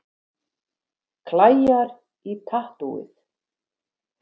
Klæjar í tattúið